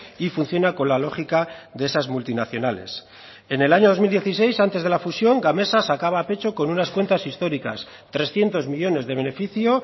y funciona con la lógica de esas multinacionales en el año dos mil dieciséis antes de la fusión gamesa sacaba pecho con unas cuentas históricas trescientos millónes de beneficio